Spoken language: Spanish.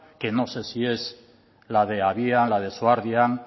que no sé si es la de habia la de